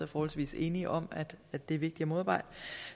forholdsvis enige om at det er vigtigt at modarbejde